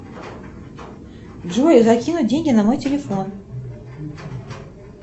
джой закинуть деньги на мой телефон